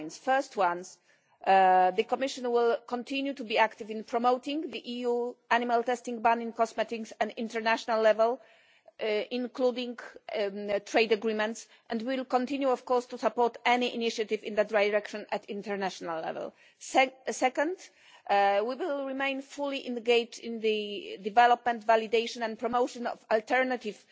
The first one is that the Commission will continue to be active in promoting the EU animal testing ban in cosmetics at international level including trade agreements and we will continue of course to support any initiative in that direction at international level. Secondly, we will remain fully engaged in the development, validation and promotion of alternative